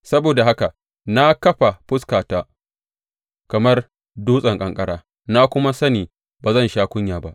Saboda haka na kafa fuskata kamar dutsen ƙanƙara, na kuma sani ba zan sha kunya ba.